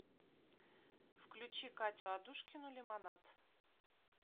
включи катю адушкину лимонад